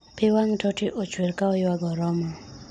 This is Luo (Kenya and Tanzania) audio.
pi wang' Totti ochwer ka oywago Roma